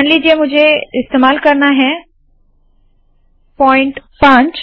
मान लीजिए मुझे इस्तेमाल करना है पॉइंट 5